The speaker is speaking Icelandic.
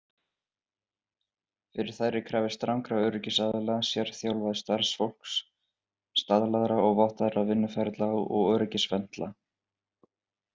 Fyrir þær er krafist strangra öryggisstaðla, sérþjálfaðs starfsfólks, staðlaðra og vottaðra vinnuferla og öryggisventla.